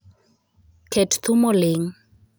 Ket thum oling'